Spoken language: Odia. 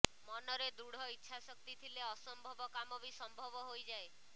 ମନରେ ଦୃଢ଼ ଇଚ୍ଛା ଶକ୍ତି ଥିଲେ ଅସମ୍ଭବ କାମ ବି ସମ୍ଭବ ହୋଇଯାଏ